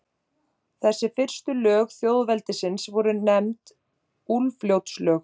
Þessi fyrstu lög þjóðveldisins voru nefnd Úlfljótslög.